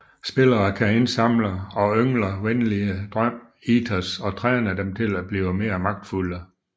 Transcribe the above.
Spillere kan indsamle og yngler venlige drøm Eaters og træne dem til at blive mere magtfulde